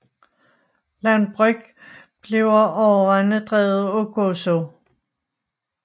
Landbrug bliver overvejende drevet på Gozo